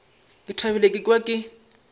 ke thabile ka kwa ke